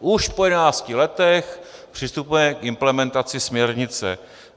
Už po jedenácti letech přistupujeme k implementaci směrnice.